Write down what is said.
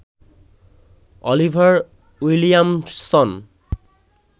Oliver Williamson